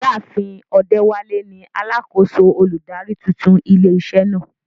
Ìyá àfin Odewale ni alákòóso olùdarí tuntun ilé iṣẹ́ náà.